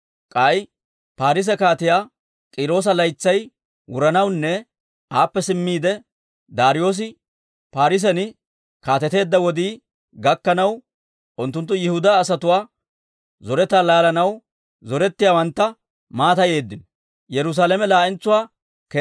K'ay Paarise Kaatiyaa K'iiroosa laytsay wuranawunne aappe simmiide Daariyoosi Paarisen kaateteedda wodii gakkanaw, unttunttu Yihudaa asatuwaa zoretaa laalanaw zorettiyaawantta mattayeeddino.